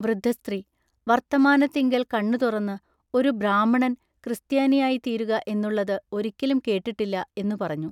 വൃദ്ധ സ്ത്രീ ൟ വൎത്തമാനത്തിങ്കൽ കണ്ണു തുറന്നു ഒരു ബ്രാഹ്മണൻ ക്രിസ്ത്യാനിയായിത്തീരുക എന്നുള്ളതു ഒരിക്കലും കേട്ടിട്ടില്ല എന്നു പറഞ്ഞു.